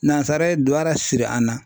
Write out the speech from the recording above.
Nansara ye duwara siri an na.